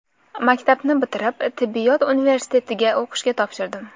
Maktabni bitirib, tibbiyot universitetiga o‘qishga topshirdim.